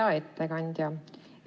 Hea ettekandja!